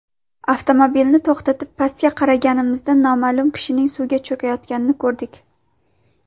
Avtomobilni to‘xtatib, pastga qaraganimizda noma’lum kishining suvga cho‘kayotganini ko‘rdik.